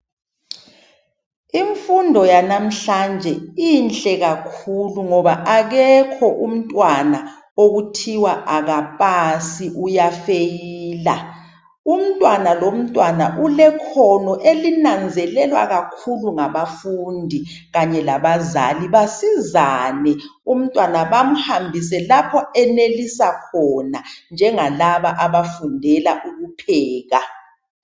Infundo yanamuhlanje inhle kakhulu ngoba akekho umntwana okuthiwa akapasi uyafeyila. Umntwana lomntwana ulekhono elinanzelelwa kakhulu ngabafundi kanye la bazali, basizane umntwana bamhambise lapho enelisa khona, njengalaba abafundela ukupheka.